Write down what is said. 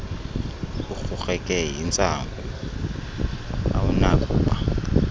urhurheke yintsangu awunakuba